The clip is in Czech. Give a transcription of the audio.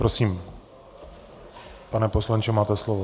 Prosím, pane poslanče, máte slovo.